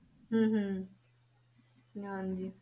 ਹਮ ਹਮ ਹਾਂਜੀ।